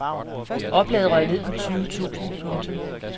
Oplaget røg ned på tyve tusind. punktum